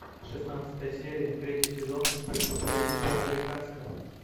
шестнадцатая серия третий сезон преступление по американски